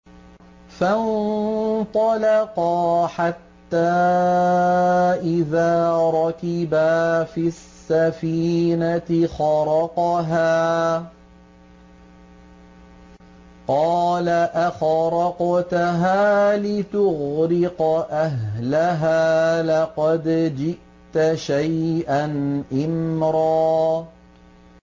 فَانطَلَقَا حَتَّىٰ إِذَا رَكِبَا فِي السَّفِينَةِ خَرَقَهَا ۖ قَالَ أَخَرَقْتَهَا لِتُغْرِقَ أَهْلَهَا لَقَدْ جِئْتَ شَيْئًا إِمْرًا